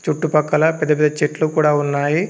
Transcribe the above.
చుట్టుపక్కల పెద్ద పెద్ద చెట్లు కూడా ఉన్నాయి.